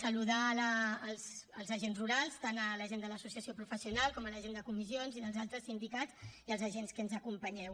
saludar els agents rurals tant la gent de l’associació professional com la gent de comissions i dels altres sindicats i els agents que ens acompanyeu